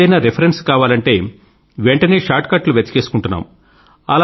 ఏదన్నా రిఫరెన్స్ కావాలంటే వెంటనే షార్ట్ కట్ లు వెతికేసుకుంటున్నాము